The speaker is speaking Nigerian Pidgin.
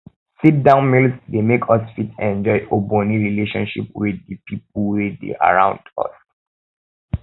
sit down meals dey make us fit enjoy ogbonhe relationship with di pipo wey dey around um us